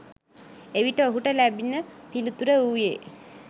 එවිට ඔහුට ලැබුණ පිළිතුර වූයේ